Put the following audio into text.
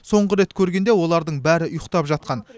соңғы рет көргенде олардың бәрі ұйықтап жатқан